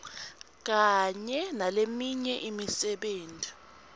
kanye naleminye imisebenti